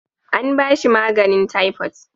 An ba shi maganin taifot